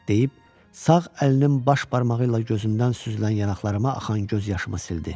Deyib, sağ əlinin baş barmağı ilə gözümdən süzülən yanaqlarıma axan göz yaşımı sildi.